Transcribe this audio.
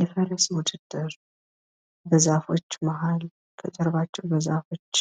የፈረስ ውድድር በዛፎች መሀል ከጀርባቸው በዛፎች